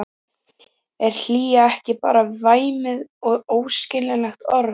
Er hlýja ekki bara væmið og óskiljanlegt orð?